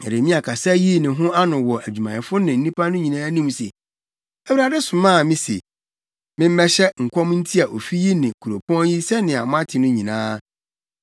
Na Yeremia kasa yii ne ho ano wɔ adwumayɛfo ne nnipa no nyinaa anim se, “ Awurade somaa me se, memmɛhyɛ nkɔm ntia ofi yi ne kuropɔn yi sɛnea moate no nyinaa.